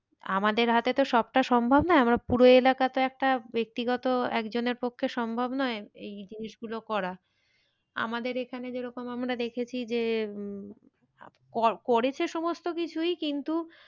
আমাদের হাতে তো সবটা সম্ভব নয় আমার পুরো এলাকা তো একটা ব্যক্তিগত একজনের পক্ষে সম্ভব নয় এই জিনিস গুলো করা। আমাদের এখানে যেরকম আমরা দেখেছি যে উম করেছে সমস্ত কিছুই কিন্তু,